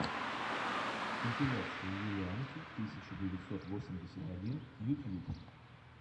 компиляция юлианки тысяча девятьсот восемьдесят один ютьюб